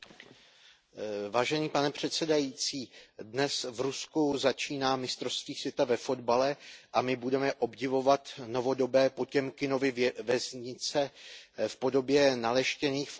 Pane předsedající, dnes v Rusku začíná mistrovství světa ve fotbale a my budeme obdivovat novodobé Potěmkinovy vesnice v podobě naleštěných fotbalových stadionů.